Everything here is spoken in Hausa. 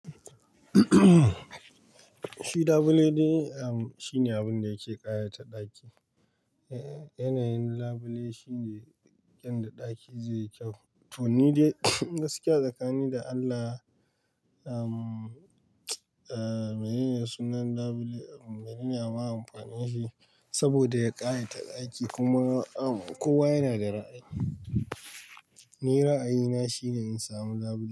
Shi labule de, um, shine abun da yake ƙayata ɗaki. Yanayin labule shine yanda ɗaki zai yi kyau. To ni dai gaskiya tsakanin da Allah, um, mene ne sunan labule, mene ne ama amfanin shi saboda ya ƙayata ɗaki kuma, um, kowa yana da ra'ayi. Ni ra'ayina shine in samu labule.